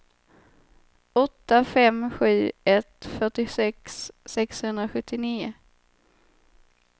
åtta fem sju ett fyrtiosex sexhundrasjuttionio